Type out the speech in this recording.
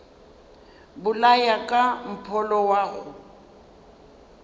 bolaya ka mpholo wa go